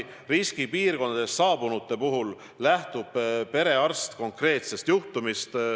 Riskipiirkondadest saabunute puhul lähtub perearst konkreetsest juhtumist.